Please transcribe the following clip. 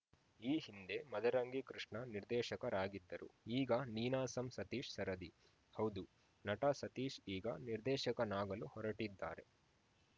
ಈ ಹಿಂದೆ ಮದರಂಗಿ ಕೃಷ್ಣ ನಿರ್ದೇಶಕರಾಗಿದ್ದರು ಈಗ ನೀನಾಸಂ ಸತೀಶ್‌ ಸರದಿ ಹೌದು ನಟ ಸತೀಶ್‌ ಈಗ ನಿರ್ದೇಶಕನಾಗಲು ಹೊರಟಿದ್ದಾರೆ